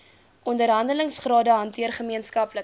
onderhandelingsrade hanteer gemeenskaplike